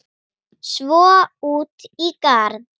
Svo út í garð.